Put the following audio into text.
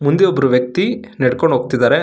ಮುಂದೆ ಒಬ್ಬರು ವ್ಯಕ್ತಿ ನಡ್ಕೊಂಡು ಹೋಗ್ತಿದ್ದಾರೆ.